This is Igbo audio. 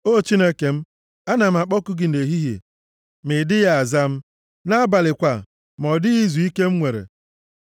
O Chineke m, ana m akpọku gị nʼehihie, ma ị dịghị aza m, nʼabalị kwa, ma ọ dịghị izuike m nwere. + 22:2 Maọbụ, Nʼabalị, adịghị m emechikwa ọnụ m